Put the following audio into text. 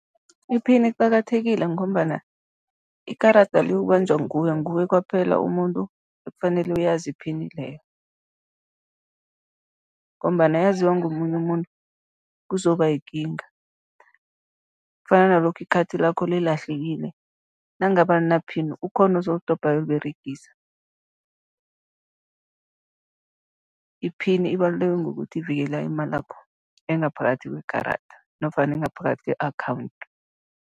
I-pin iqakathekile ngombana ikarada liyokubanjwa nguwe, nguwe kwaphela umuntu ekufanele uyazi i-pin leyo ngombana yaziwa ngomunye umuntu, kuzoba yikinga. Kufana nalokha i-card lakho lilahlekile, nangabe alina-pin, kukhona ozolidobha, ayoliberegisa. I-pin ibaluleke ngokuthi ivikela imalakho engaphakathi kwekarada nofana engaphakathi kwe-akhawundi.